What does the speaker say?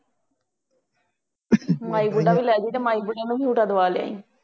ਮਾਈ ਬੁੱਢਾ ਵੀ ਲੈ ਜਾਈਂ ਅਤੇ ਮਾਈ ਬੁੱਢੇ ਨੂੰ ਝੂਟਾ ਦਿਵਾ ਲਿਆਂਈ।